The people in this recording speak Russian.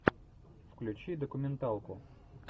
включи документалку